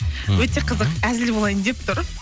өте қызық әзіл болайын деп тұр